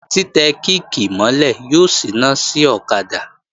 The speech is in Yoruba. Tí tẹ kíìkì mọ́ lẹ̀ yóò síná sí ọ̀kadà